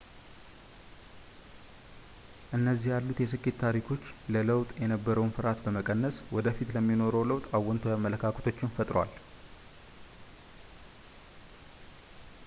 እንደነዚህ ያሉት የስኬት ታሪኮች ለለውጥ የነበረውን ፍርሃትን በመቀነስ ወደፊቱ ለሚኖረው ለውጥ አዎንታዊ አመለካከቶችን ፈጥሯል